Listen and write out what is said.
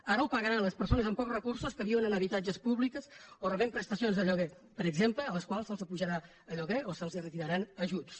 ara ho pagaran les persones amb pocs recursos que viuen en habitatges públics o que reben prestacions de lloguer per exemple a les quals se’ls apujarà el lloguer o se’ls retiraran ajuts